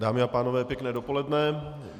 Dámy a pánové, pěkné dopoledne.